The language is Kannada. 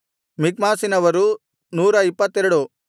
ಮಿಕ್ಮಾಸಿನವರು 122